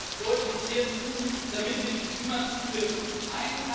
Wir müssen deutlich mehr tun, damit wir die Klimaziele erreichen.